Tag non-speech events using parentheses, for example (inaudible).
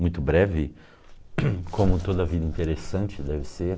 Muito breve, (coughs) como toda vida interessante deve ser, né?